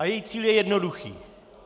A její cíl je jednoduchý.